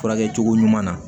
Furakɛ cogo ɲuman na